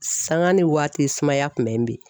Sanga ni waati sumaya kun bɛ n bin